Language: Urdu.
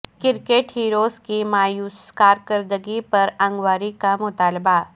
کرکٹ ہیروز کی مایوس کارکردگی پر انکوائری کا مطالبہ